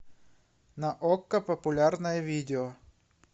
на окко популярное видео